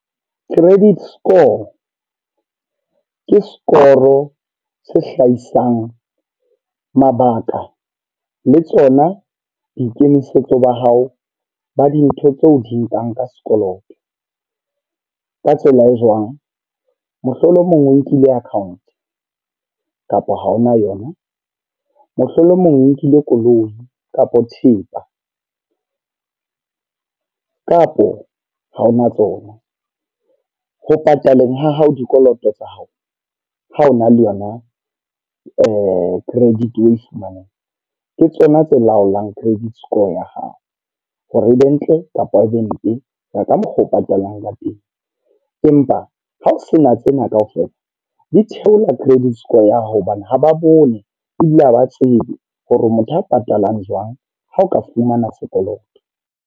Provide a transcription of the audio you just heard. Credit score. Ke score se hlahisang mabaka le tsona boikemisetso ba hao ba dintho tseo o di nkang ka sekoloto. Ka tsela e jwang, mohlolomong o nkile account kapa ha ona yona. Mohlolomong nkile koloi kapa thepa, kapo ha hona tsona. Ho pataleng ha hao dikoloto tsa hao, ha hona le yona credit national ke tsona tse laolang credit score ya hao. Hore e be ntle kapa e be mpe, ho ya ka mokgoo o patalang ka teng. Empa hao sena tsena kaofela, di theola credit score ya hao hobane ha ba bone ebile haba tsebe hore motho a patalang jwang ha o ka fumana sekoloto.